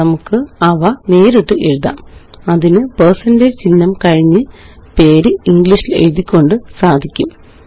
നമുക്കവ നേരിട്ടെഴുതാം അതിന് പേഴ്സന്റേജ് ചിഹ്നം കഴിഞ്ഞ് പേര് ഇംഗ്ലീഷില് എഴുതിക്കൊണ്ട് സാധിക്കാം